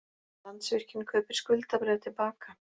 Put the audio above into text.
Landsvirkjun kaupir skuldabréf til baka